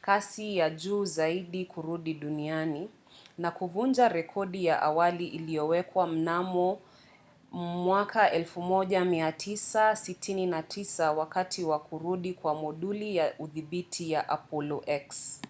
kasi ya juu zaidi kurudi duniani na kuvunja rekodi ya awali iliyowekwa mnamo mai 1969 wakati wa kurudi kwa moduli ya udhibiti ya apollo x